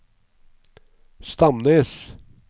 Stamnes